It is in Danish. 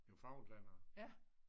Newfoundlændere